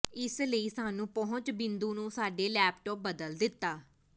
ਇਸ ਲਈ ਸਾਨੂੰ ਪਹੁੰਚ ਬਿੰਦੂ ਨੂੰ ਸਾਡੇ ਲੈਪਟਾਪ ਬਦਲ ਦਿੱਤਾ